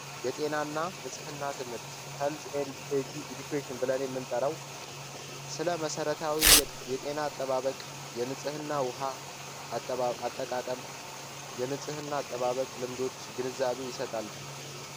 የጤናና ንጽህና ትምህርት የጤና አጠባበቅ የንጽህና ውሃ አጠባጠቃቀም የንጽህና አጠባበቅ ልምዶች ግንዛቤ ይሰጣል።